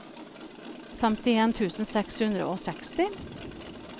femtien tusen seks hundre og seksti